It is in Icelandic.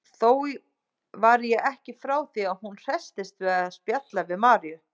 Þó var ég ekki frá því að hún hresstist við að spjalla við Maríu.